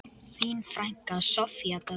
Þín frænka, Soffía Dögg.